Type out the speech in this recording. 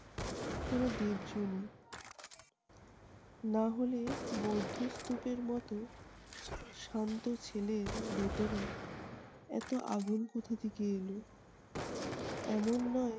কোনো দেব জনই। না হলে বৌদ্ধস্তূপের মতো শান্ত ছেলের ভিতরে এতো আগুন কোথা থেকে এলো? এমন নয়